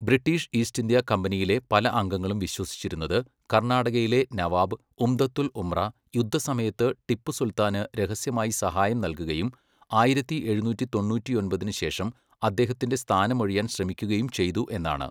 British east India കമ്പനിയിലെ പല അംഗങ്ങളും വിശ്വസിച്ചിരുന്നത് കർണാടകയിലെ നവാബ് ഉംദത്തുൽ ഉമ്ര യുദ്ധസമയത്ത് ടിപ്പു സുൽത്താന് രഹസ്യമായി സഹായം നൽകുകയും ആയിരത്തി എഴുനൂറ്റി തൊണ്ണൂറ്റിയൊമ്പതിന് ശേഷം അദ്ദേഹത്തിന്റെ സ്ഥാനമൊഴിയാൻ ശ്രമിക്കുകയും ചെയ്തു എന്നാണ്.